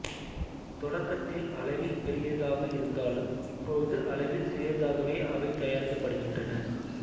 தொடக்கத்தில் அளவில் பெரியதாக இருந்தாலும் இப்பொழுது அளவில் சிறியதாகவே அவை தயாரிக்கப்படுகின்றன